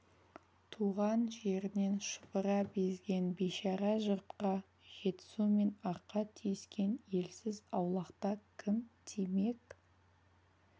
туған жерінен шұбыра безген бишара жұртқа жетісу мен арқа түйіскен елсіз аулақта кім тимек